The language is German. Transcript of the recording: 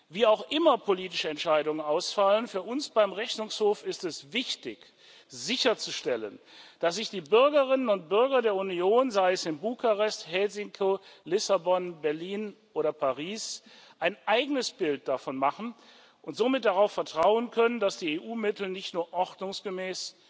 Wie auch immer politische Entscheidungen ausfallen für uns beim Rechnungshof ist es wichtig sicherzustellen, dass sich die Bürgerinnen und Bürger der Union sei es in Bukarest, Helsinki, Lissabon, Berlin oder Paris ein eigenes Bild davon machen und somit darauf vertrauen können, dass die EU Mittel nicht nur ordnungsgemäß,